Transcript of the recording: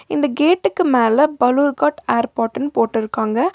இந்த கேட்டுக்கு மேல பலூர்கார்ட் ஏர்போர்ட்ன்னு போட்ருக்காங்க.